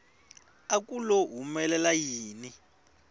a ku lo humelela yini